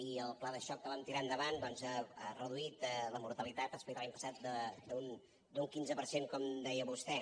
i el pla de xoc que vam tirar endavant doncs ha reduït la mortalitat respecte a l’any passat un quinze per cent com deia vostè